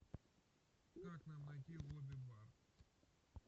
как нам найти лобби бар